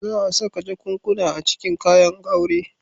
Za a saka jakunkuna a cikin kayan aure.